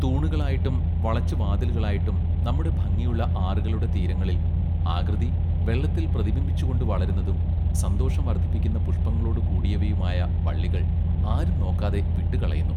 തൂണുകളായിട്ടും വളച്ചുവാതിലുകളായിട്ടും നമ്മുടെ ഭംഗിയുള്ള ആറുകളുടെ തീരങ്ങളിൽ ആകൃതി വെള്ളത്തിൽ പ്രതിബിംബിച്ചുകൊണ്ട് വളരുന്നതും സന്തോഷം വർദ്ധിപ്പിക്കുന്ന പുഷ്പങ്ങളൊടു കൂടിയവയുമായ വള്ളികൾ ആരും നോക്കാതെ വിട്ടുകളയുന്നു.